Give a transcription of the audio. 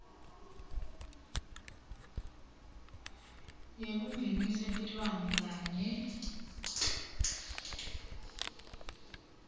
yekungenisa tilwane kanye